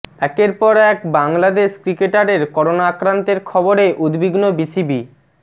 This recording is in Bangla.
একের পর এক বাংলাদেশ ক্রিকেটারের করোনা আক্রান্তের খবরে উদ্বিগ্ন বিসিবি